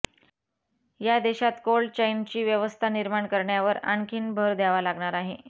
यासाठी देशात कोल्ड चैनची व्यवस्था निर्माण करण्यावर आणखीन भर द्यावा लागणार आहे